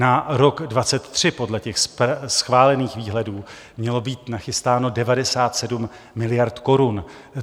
Na rok 2023 podle těch schválených výhledů mělo být nachystáno 97 miliard korun.